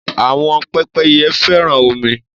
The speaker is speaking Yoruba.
Àwọn pẹ́pẹ́yẹ fẹ́ràn omi.